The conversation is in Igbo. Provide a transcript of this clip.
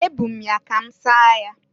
Ebu m ya ka m saa ya.